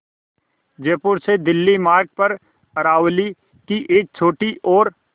जयपुर से दिल्ली मार्ग पर अरावली की एक छोटी और